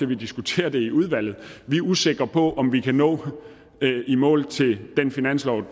vi diskuterer det i udvalget vi er usikre på om vi kan nå i mål til den finanslov